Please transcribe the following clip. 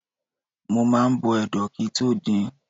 Mo máa ń bọ ẹdo kí i tó din.